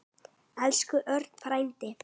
Elsku Örn frændi.